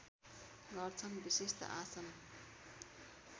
गर्छन विशिष्ट आसन